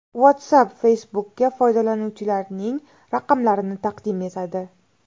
WhatsApp Facebook’ka foydalanuvchilarining raqamlarini taqdim etadi.